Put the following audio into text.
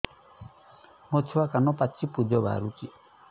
ମୋ ଛୁଆ କାନ ପାଚି ପୂଜ ବାହାରୁଚି